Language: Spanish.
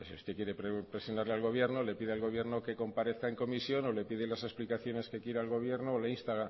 usted quiere presionar al gobierno le pide al gobierno que comparezca en comisión o le pide las explicaciones que quiera al gobierno o le insta